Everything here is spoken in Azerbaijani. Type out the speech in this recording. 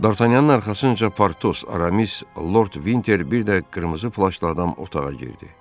Dartanyanın arxasınca Partos, Aramis, Lord Vinter bir də qırmızı flaşlı adam otağa girdi.